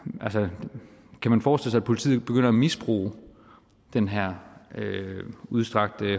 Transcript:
kan forestille sig at politiet begynder at misbruge den her udstrakte